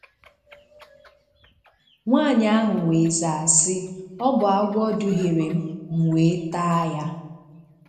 Nwaanyị ahụ wee zaa sị: "Ọ bụ agwọ duhiere m, m wee taa ya."